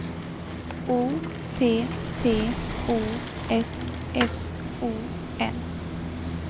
O T T O S S O N